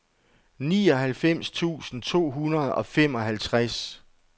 nioghalvfems tusind to hundrede og femoghalvtreds